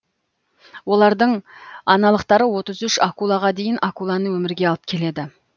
олардың аналықтары отыз үш акулаға дейін акуланы өмірге алып келеді